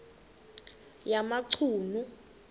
yamachunu